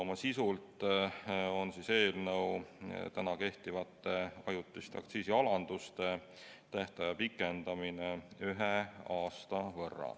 Eelnõu sisu aga on kehtivate ajutiste aktsiisialanduste tähtaja pikendamine ühe aasta võrra.